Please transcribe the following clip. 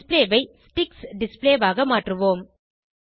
display ஐ sticks display ஆக மாற்றுவோம்